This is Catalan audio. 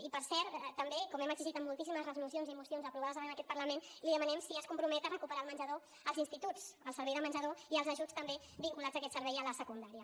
i per cert també com hem exigit en moltíssimes resolucions i mocions aprovades en aquest parlament li demanem si es compromet a recuperar el menjador als instituts el servei de menjador i els ajuts també vinculats a aquest servei a la secundària